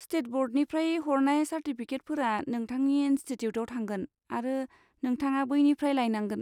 State ब'र्डनिफ्राय हरनाय चार्टिफिकेटफोरा नोंथांनि इनस्टिटिउटाव थांगोन, आरो नोंथाङा बैनिफ्राइ लायनांगोन।